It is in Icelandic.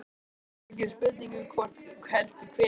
Það var ekki spurning um hvort heldur hvenær.